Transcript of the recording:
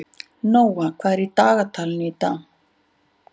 Nóa, hvað er í dagatalinu í dag?